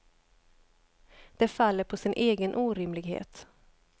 Det faller på sin egen orimlighet.